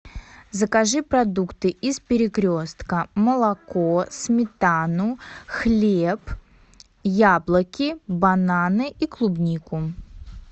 закажи продукты из перекрестка молоко сметану хлеб яблоки бананы и клубнику